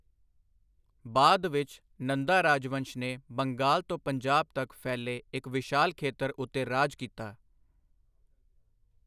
ਬਾਅਦ ਵਿੱਚ, ਨੰਦਾ ਰਾਜਵੰਸ਼ ਨੇ ਬੰਗਾਲ ਤੋਂ ਪੰਜਾਬ ਤੱਕ ਫੈਲੇ ਇੱਕ ਵਿਸ਼ਾਲ ਖੇਤਰ ਉੱਤੇ ਰਾਜ ਕੀਤਾ।